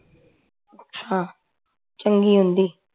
ਅੱਛਾ ਚੰਗੀ ਹੁੰਦੀ